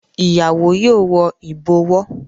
Ìyàwó yóò wọ ìbọ̀wọ́.